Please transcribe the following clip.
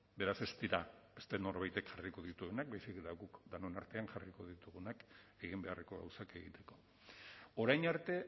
beraz ez dira beste norbaitek jarriko dituenak baizik eta guk denon artean jarriko ditugunak eginbeharreko gauzak egiteko orain arte